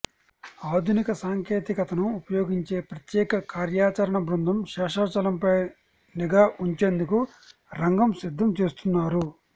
ఆధునిక సాంకేతికతను ఉపయోగించి ప్రత్యేక కార్యాచరణ బృందం శేషాచలంపై నిఘా ఉంచేందుకు రంగం సిద్దం చేస్తున్నారు